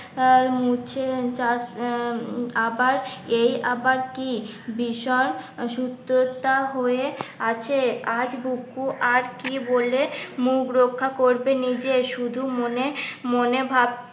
মুছে চাষ আবার এই আবার কি ভীষণ সুস্থতা হয়ে আছে আজ বুকু আর কি বলে মুখ রক্ষা করবে নিজে শুধু মনে মনে ভাব